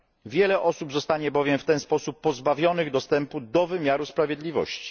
Wiele osób zostanie bowiem w ten sposób pozbawionych dostępu do wymiaru sprawiedliwości.